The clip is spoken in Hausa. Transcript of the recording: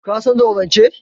Ka san zaurance?